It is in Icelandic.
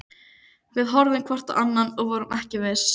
Við horfðum hvort á annað- og vorum ekki viss.